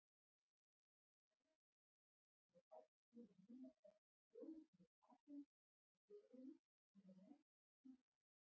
Nánar tiltekið er átt við númer þess kolefnisatóms í sykrunni sem er næst endanum.